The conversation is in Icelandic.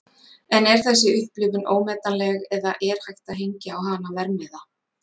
En er þessi upplifun ómetanleg eða er hægt að hengja á hana verðmiða?